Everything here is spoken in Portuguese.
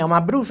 É uma bruxa?